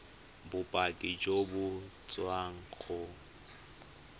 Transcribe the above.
bopaki jo bo tswang go